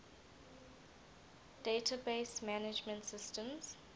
database management systems